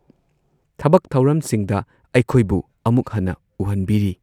ꯊꯕꯛ ꯊꯧꯔꯝꯁꯤꯡꯗ ꯑꯩꯈꯣꯏꯕꯨ ꯑꯃꯨꯛ ꯍꯟꯅ ꯎꯍꯟꯕꯤꯔꯤ